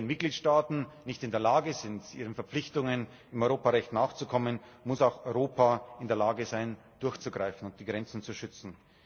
Wenn Mitgliedstaaten nicht in der Lage sind, ihren Verpflichtungen im Europarecht nachzukommen, muss auch Europa in der Lage sein, durchzugreifen und die Grenzen zu schützen.